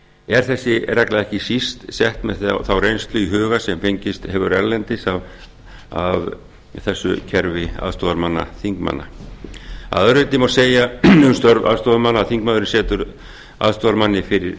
er þessi regla ekki síst sett með þá reynslu í huga sem fengist hefur erlendis af aðstoðarmönnum þingmanna að öðru leyti má segja um störf aðstoðarmanna að þingmaðurinn setur aðstoðarmanni fyrir